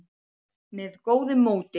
með góðu móti.